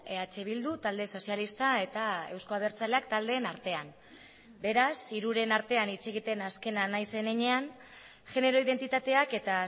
eh bildu talde sozialista eta euzko abertzaleak taldeen artean beraz hiruren artean hitz egiten azkena nahiz zen heinean genero identitateak eta